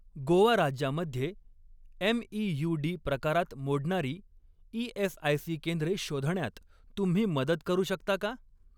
गोवा राज्यामध्ये एमईयूडी प्रकारात मोडणारी ई.एस.आय.सी. केंद्रे शोधण्यात तुम्ही मदत करू शकता का?